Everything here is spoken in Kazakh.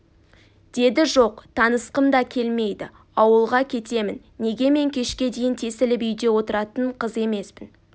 деді жоқ танысқым да келмейді ауылға кетемін неге мен кешке дейін тесіліп үйде отыратын қыз емеспін